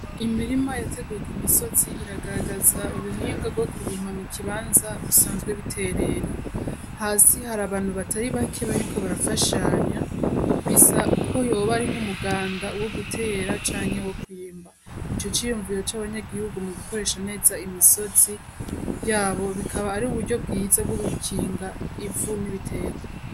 Imirima yateguye ku misozi iragaragaza uruhinga rwo kurimpa mu kibanza bisanzwe biterera hasi hari abantu batari bake bariko barafashanya bisa ko yoba arinko umuganda wo gutera canke wo kuyimba ico ciyumviwo c'abanyagihugu mu gukoresha neza imisozi yabo bikaba ari uburyo bwiza bw'ugucinga ivu n'ibitekwa.